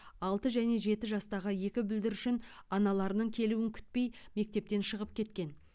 алты және жеті жастағы екі бүлдіршін аналарының келуін күтпей мектептен шығып кеткен